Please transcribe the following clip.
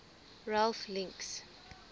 ralph links